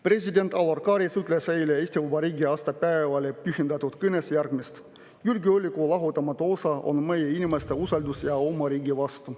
President Alar Karis ütles eile Eesti Vabariigi aastapäevale pühendatud kõnes järgmist: "Julgeoleku lahutamatu osa on meie inimeste usaldus oma riigi vastu.